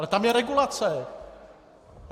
Ale tam je regulace!